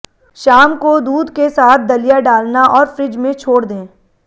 शाम को दूध के साथ दलिया डालना और फ्रिज में छोड़ दें